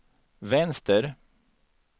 vänster